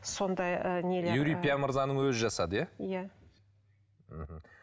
сондай ы не юрий пия мырзаның өзі жасады иә иә мхм